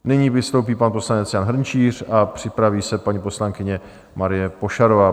Nyní vystoupí pan poslanec Jan Hrnčíř a připraví se paní poslankyně Marie Pošarová.